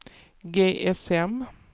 GSM